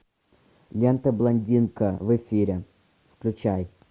лента блондинка в эфире включай